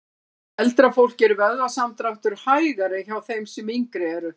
Hjá eldra fólki er vöðvasamdráttur hægari en hjá þeim sem yngri eru.